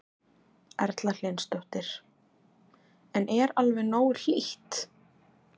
Erla Hlynsdóttir: En er alveg nógu hlýtt?